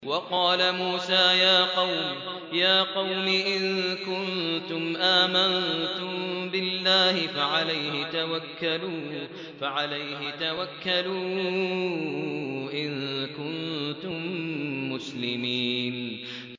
وَقَالَ مُوسَىٰ يَا قَوْمِ إِن كُنتُمْ آمَنتُم بِاللَّهِ فَعَلَيْهِ تَوَكَّلُوا إِن كُنتُم مُّسْلِمِينَ